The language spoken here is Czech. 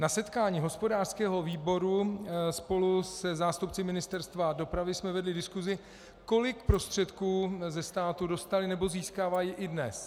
Na setkání hospodářského výboru spolu se zástupci Ministerstva dopravy jsme vedli diskuzi, kolik prostředků od státu dostali nebo získávají i dnes.